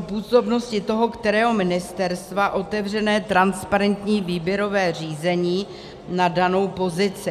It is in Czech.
působnosti toho kterého ministerstva, otevřené transparentní výběrové řízení na danou pozici.